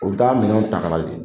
O bɛ taa minɛnw taa kana de.